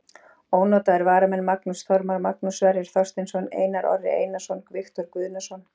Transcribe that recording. Ónotaðir varamenn: Magnús Þormar, Magnús Sverrir Þorsteinsson, Einar Orri Einarsson, Viktor Guðnason.